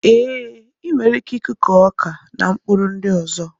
E, I nwere ike I kụkọ ọkà na mkpụrụ ndị ọzọ